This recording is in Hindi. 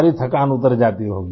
सारी थकान उतर जाती होगी